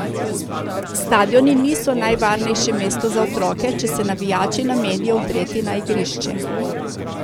Stadioni niso najvarnejše mesto za otroke, če se navijači namenijo vdreti na igrišče.